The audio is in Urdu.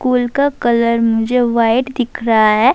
اسکول کا کلر مجھے وہاٹھے دیکھ رہا ہے،